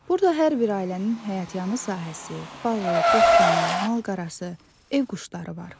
Burada hər bir ailənin həyətyanı sahəsi, bağı, bostanı, mal-qarası, ev quşları var.